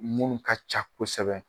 Mun ka ca kosɛbɛ